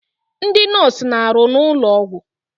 Ndị nọọsụ na-arụ n'ụlọ ọgwụ.